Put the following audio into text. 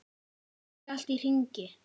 Fer ekki allt í hringi?